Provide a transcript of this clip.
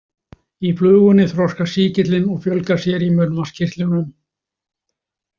Í flugunni þroskast sýkillinn og fjölgar sér í munnvatnskirtlunum.